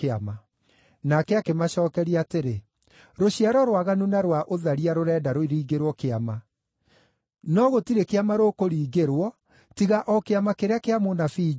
Nake akĩmacookeria atĩrĩ, “Rũciaro rwaganu na rwa ũtharia rũrenda rũringĩrwo kĩama! No gũtirĩ kĩama rũkũringĩrwo tiga o kĩama kĩrĩa kĩa mũnabii Jona.